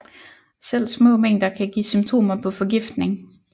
Selv små mængder kan give symptomer på forgiftning